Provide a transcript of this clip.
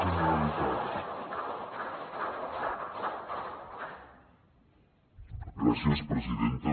gràcies presidenta